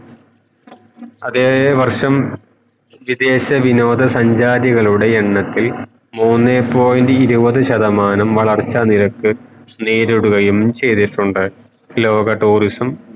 വേഷം വിദേശ വിനോദ സഞ്ചാരികളുടെ എണ്ണത്തിൽ മൂന്നേ point ഇരുവത് ശതമാനം വളർച്ച നിരക് നേരിടുകയും ച്യ്തിട്ടുണ്ട് ലോക tourism